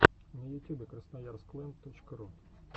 на ютюбе красноярск лэнд точка ру